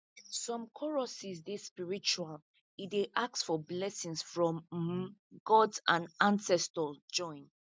some choruses dey spiritual e dey ask for blessings from um god and ancestors join